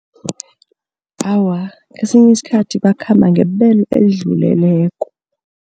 Awa, esinye isikhathi bakhamba ngebelo elidluleleko.